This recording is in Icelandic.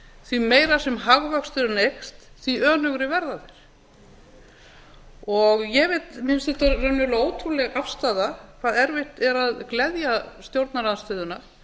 því meira sem hagvöxturinn eykst því önugri verða þeir mér finnst þetta raunverulega ótrúleg afstaða hve erfitt er að gleðja stjórnarandstöðuna